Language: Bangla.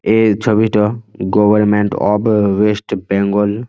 এই ছবিটো গভর্নমেন্ট অব-ব ওয়েস্ট বেঙ্গল --